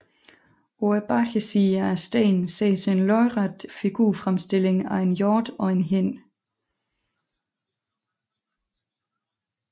På bagsiden af stenen ses en lodret figurfremstilling af en hjort og en hind